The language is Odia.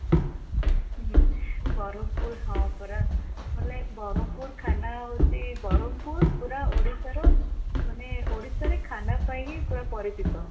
ହୁଁ ବ୍ରହ୍ମପୁର ହଁ ପରା ବୋଲେ ବ୍ରହ୍ମପୁର ଖାନା ହଉଚି ବ୍ରହ୍ମପୁର ପୁରା ଓଡିଶାର ମାନେ ଓଡିଶାରେ ଖାନା ପାଇଁ ହିଁ ପୁରା ପରିଚିତ